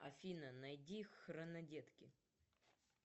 афина найди хронодетки